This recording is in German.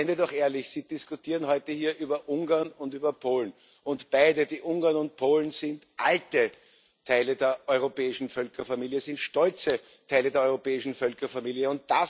Seien wir doch ehrlich Sie diskutieren heute hier über Ungarn und über Polen, und beide, die Ungarn und Polen, sind alte Teile der europäischen Völkerfamilie, sind stolze Teile der europäischen Völkerfamilie.